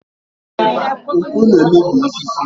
Mkpụ na-emebi osisi.